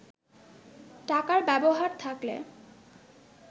টাকার ব্যবহার থাকলে